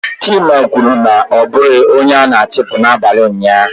Chima kwuru na ya abụghị onye a na-achụpụ n'abalị ụnyaahụ.